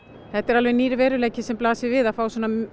þetta er alveg nýr veruleiki sem blasir við að fá